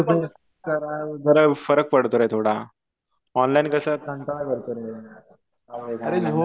आणि face to face जरा फरक पडतो रे थोडा.ऑनलाईन कसं कंटाळा येतो रे.